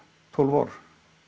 tólf ár